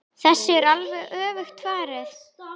Þessu er alveg öfugt farið.